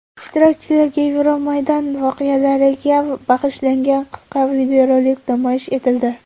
Ishtirokchilarga Yevromaydon voqealariga bag‘ishlangan qisqa videorolik namoyish etildi.